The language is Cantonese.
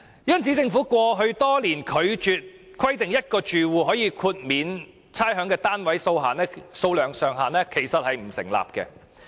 因此，政府過去多年拒絕規定1個住戶可獲豁免差餉的單位數目上限，並不成立。